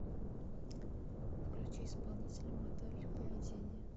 включи исполнителя модель поведения